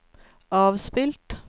avspilt